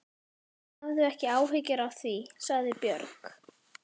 Hafðu ekki áhyggjur af því, sagði Björg.